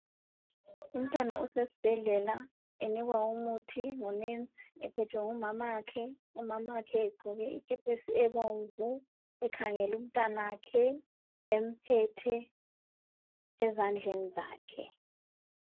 Umntwana usesibhedlela enikwa umuthi ngunesi. Ephethwe ngumamakhe, umamakhe egqoke ikepesi ebomvu, ekhangele umntanakhe emphethe ezandleni zakhe.